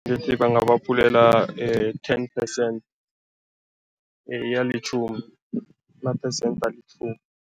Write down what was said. Ngithi bangabaphulela ten percent, alitjhumi, ama-percent alitjhumi.